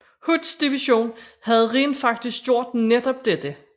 Hoods division havde rent faktisk gjort netop dette